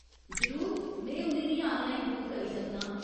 जरूर, में उ'नें गी आनलाइन बुक करी सकनां ।